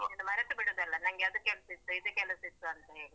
ಇನ್ನು ಮರೆತು ಬಿಡುದಲ್ಲ ನಂಗೆ ಅದು ಕೆಲ್ಸ ಇತ್ತು ಇದು ಕೆಲಸ ಇತ್ತು ಅಂತ ಹೇಳಿ.